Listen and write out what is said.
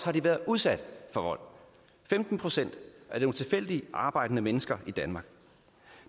har de været udsat for vold femten procent af nogle tilfældigt arbejdende mennesker i danmark